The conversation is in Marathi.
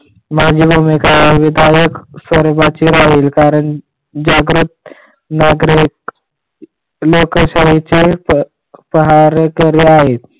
सर्वाची राहील जागृत नागरिक लोकशाहीचे पहारेकरी आहेत.